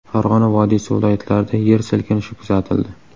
Farg‘ona vodiysi viloyatlarida yer silkinishi kuzatildi.